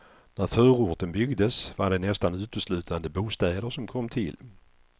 När förorten byggdes var det nästan uteslutande bostäder som kom till.